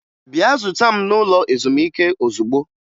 Bịa zuta m n'ụlọ ezumike ozugbo!